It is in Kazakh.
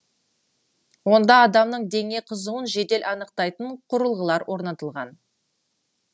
онда адамның дене қызуын жедел анықтайтын құрылғылар орнатылған